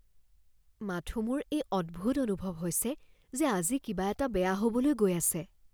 মাথোঁ মোৰ এই অদ্ভুত অনুভৱ হৈছে যে আজি কিবা এটা বেয়া হ'বলৈ গৈ আছে।